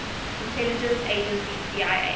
intelligence agency cia